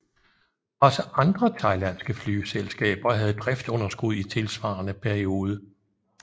Også andre thailandske flyselskaber havde driftsunderskud i tilsvarende periode